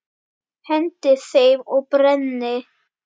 Hendi þeim og brenni.